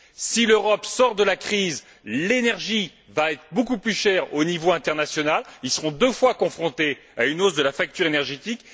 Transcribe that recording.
si l'Europe sort de la crise, l'énergie va être beaucoup plus chère au niveau international. Les citoyens seront deux fois confrontés à une hausse de la facture énergétique.